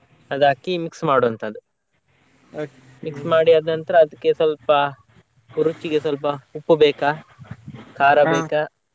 ಅದ್ ಹಾಕಿ mix ಮಾಡುವಂತದ್ದು mix ಮಾಡಿ ಆದ ನಂತ್ರ ಅದ್ಕೆ ಸ್ವಲ್ಪ ರುಚಿಗೆ ಸ್ವಲ್ಪ ಉಪ್ಪು ಬೇಕಾ ಖಾರ ಬೇಕಾ.